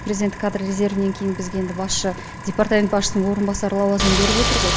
президенттік кадр резервінен кейін бізге енді басшы департамент басшысының орынбасары лауазымын беріп отыр ғой